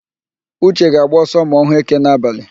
Uche ga-agba ọsọ ma ọ hụ éké n'abalị.